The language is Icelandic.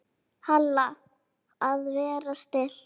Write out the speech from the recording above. Halla: Að vera stillt.